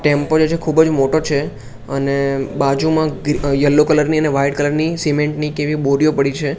Tempo જે છે ખુબજ મોટો છે અને બાજુમાં યેલો કલર ની અને વ્હાઇટ કલર ની સિમેન્ટ ની કેવી બોરિયો પડી છે.